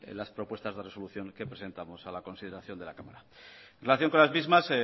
las propuestas de resolución que presentamos a la consideración de la cámara en relación con las mismas